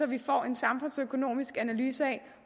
vi får en samfundsøkonomisk analyse af